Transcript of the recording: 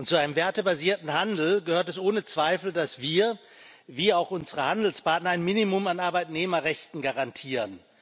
Zu einem wertebasierten Handel gehört es ohne Zweifel, dass wir wie auch unsere Handelspartner ein Minimum an Arbeitnehmerrechten garantieren.